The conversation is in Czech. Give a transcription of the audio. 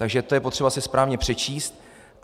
Takže to je potřeba si správně přečíst.